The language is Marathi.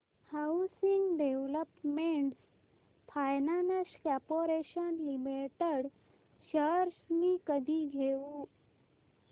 housing development finance corporation limited shares मी कधी घेऊ